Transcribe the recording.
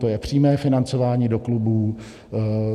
To je přímé financování do klubů.